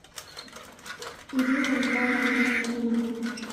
ирине михайловне костроминой